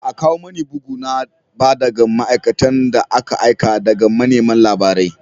Ba a kawo mani bugu na ba daga ma’aikatan da aka aika daga manema labarai